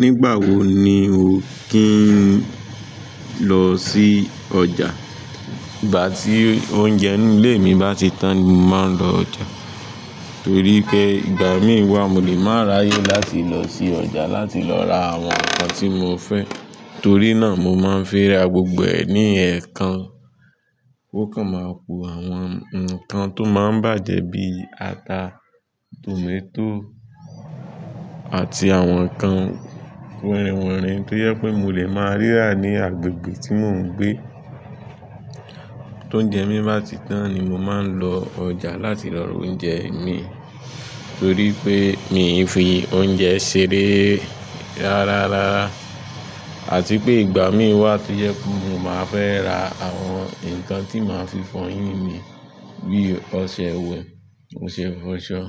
Nígbà wo ni o kì í lọ sí ọjà? Igbà tí oúnjẹ inu ilé mi bá ti tán ni mo máa ń lọ ọjà. Torí pé ìgbà mí wá mo lè máa ráyè láti lọ sí ọjà láti lọ ra àwọn nǹkan tí mo fẹ́. Torí náà mo máa ń fẹ́ ra gbogbo ẹ̀ ní ẹ̀ kan, kó kàn máa ku àwọn nkan tó máa ń bàjẹ́ bíi ata, tòmátò àti àwọn nǹkan winrin winrìn tó jẹ pé mo lè máa rí rà ní agbègbè tí mò ń gbé. Tóúnjẹ mí bá ti tán ni mo máa ń lọ ọjà láti lọ rà oúnjẹ mi, torí pé mi ò fi oúnjẹ ṣeré rárárara. Àti pé ìgbà mí wá tó yẹ pé mo máa fẹ́ ra àwọn nǹkan tí màá fi fọyín mi bí ọṣẹ ìwẹ̀, ọṣẹ ìfọṣọ.